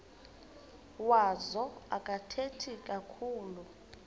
wazo akathethi kakhulu